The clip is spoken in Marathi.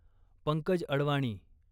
पंकज अडवाणी